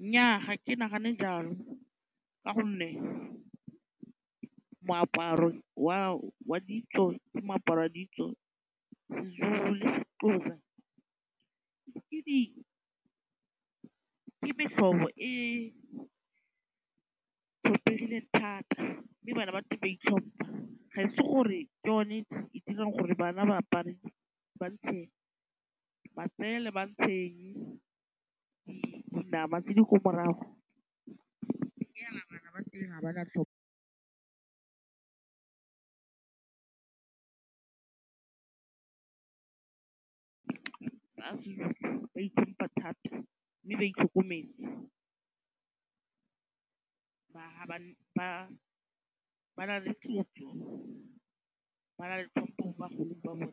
Nnyaa ga ke nagane jalo ka gonne moaparo wa ditso ke moaparo wa ditso. SeZulu le seXhosa ke metlhobo e tlhomphegile thata mme bana ba teng ba itlhompha ga e se gore ke yone e dirang gore bana ba apare ba ntshe matsele, ba ntshe dinama tse di ko morago ke hela bana ba eng ga ba na tlhompo ba itlhompa thata mme ba itlhokometse ba na le tlhompo mo bagolong ba bona